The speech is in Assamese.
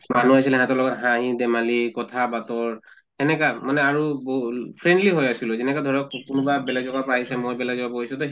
মানুহ আছিলে ইহঁতৰ লগত হাঁহি ধেমালি কথা বাতৰ এনেকা মানে আৰু বৌল friendly হৈ আছিলোঁ যেনেকা ধৰক কোনোবা বেলেগ জগাৰ পৰা আহিছে মই বেলেগ গজাত গৈছো তʼ